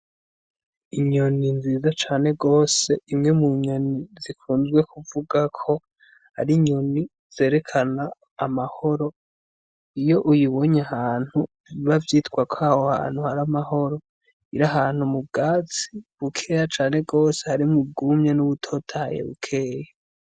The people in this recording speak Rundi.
Inyoni nziza cane gose, imwe mu nyoni zikunzwe kuvugwa ko ar'inyoni zerekana amahoro, iyo uyibonye ahantu biba vyitwa ko aho hantu har'amahoro. Ir'ahantu mu bwatsi bukeya cane gose harimwo ubwumye n'ubutotahaye bukeya.